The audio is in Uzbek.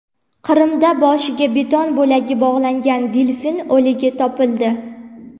Qrimda boshiga beton bo‘lagi bog‘langan delfin o‘ligi topildi.